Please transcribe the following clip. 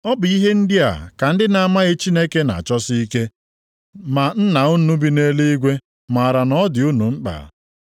Ọ bụ ihe ndị a ka ndị na-amaghị Chineke na-achọsi ike. Ma Nna unu bi nʼeluigwe maara na ọ dị unu mkpa.